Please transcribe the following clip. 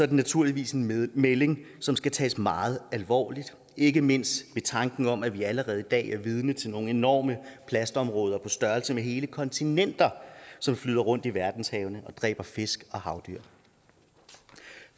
det naturligvis en melding som skal tages meget alvorligt ikke mindst ved tanken om at vi allerede i dag er vidne til nogle enorme plastområder på størrelse med hele kontinenter som flyder rundt i verdenshavene og dræber fisk og havdyr